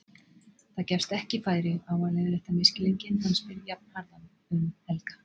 Það gefst ekki færi á að leiðrétta misskilninginn, hann spyr jafnharðan um Helga.